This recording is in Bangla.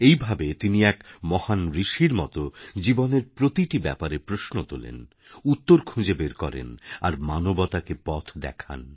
এইভাবে তিনি এক মহান ঋষির মত জীবনের প্রতিটি ব্যাপারেপ্রশ্ন তোলেন উত্তর খুঁজে বের করেন আর মানবতাকে পথ দেখান